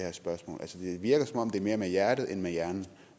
virker som om det er mere med hjertet end med hjernen